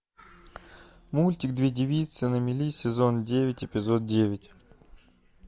мультик две девицы на мели сезон девять эпизод девять